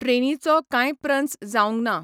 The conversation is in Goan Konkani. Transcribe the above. ट्रेनीचो कांय प्रन्स जावंक ना.